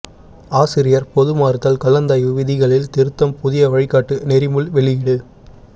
ஆசிரியா் பொதுமாறுதல் கலந்தாய்வு விதிகளில் திருத்தம் புதிய வழிகாட்டு நெறிமுைள் வெளியீடு